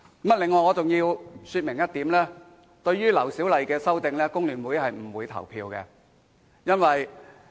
此外，我要說明一點，對於劉小麗議員的修正案，工聯會議員是不會投票的。